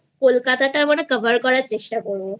Kolkata Cover করার চেষ্টা করব